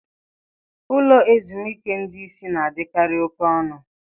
Ụlọ ezumike ndị isi na-adịkarị oke ọnụ.